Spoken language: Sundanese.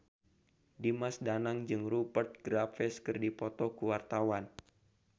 Dimas Danang jeung Rupert Graves keur dipoto ku wartawan